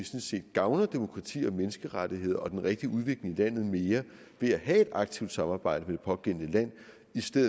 gavner demokrati og menneskerettigheder og den rigtige udvikling i landet mere ved at have et aktivt samarbejde med det pågældende land